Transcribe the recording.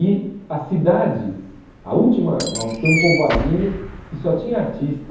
E a cidade, a última, uma tem um povoadinho que só tinha artista,